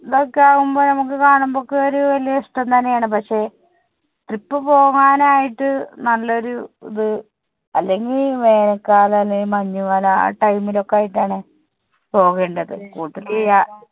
ഒക്കെ ആവുമ്പൊ നമുക്ക് കാണുമ്പോൾ ഒക്കെ വലിയ ഒരു ഇഷ്ടം തന്നെ ആണ്. പക്ഷെ trip പോവാൻ ആയിട്ട് നല്ല ഒരു ഇത് അല്ലെങ്കി വേനൽ കാലം അല്ലെങ്കിൽ മഞ്ഞു കാലം ആ time ൽ ഒക്കെ ആയിട്ട് ആണ് പോകേണ്ടത്. കൂട്ടത്തിൽ യാ~